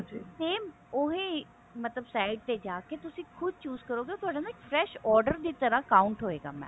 same ਓਹੇ ਮਤਲਬ site ਤੇ ਜਾ ਕਿ ਤੁਸੀਂ ਖੁਦ chose ਕਰੋਗੇ ਉਹ ਤੁਹਾਡਾ ਨਾ fresh order ਦੀ ਥਾਂ count ਹੋ ਹੋਵੇਗਾ mam